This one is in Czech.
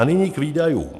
A nyní k výdajům.